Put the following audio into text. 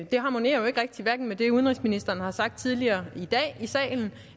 det harmonerer jo hverken med det udenrigsministeren har sagt tidligere i dag